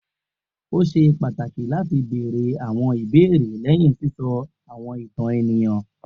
O ṣe pataki lati beere awọn ibeere lẹhin sisọ awọn itan eniyan